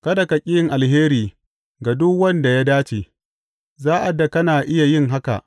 Kada ka ƙi yin alheri ga duk wanda ya dace, sa’ad da kana iya yin haka.